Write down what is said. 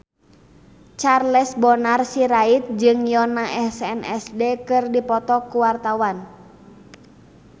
Charles Bonar Sirait jeung Yoona SNSD keur dipoto ku wartawan